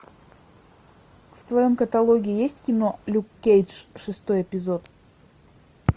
в твоем каталоге есть кино люк кейдж шестой эпизод